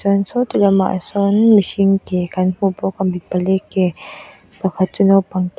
chuan sawti lamah sawn mihring ke kan hmubawk a mi pali ke pakhat chu naupang ke--